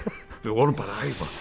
við vorum bara